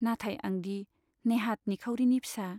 नाथाय आंदि नेहात निखावरिनि फिसा।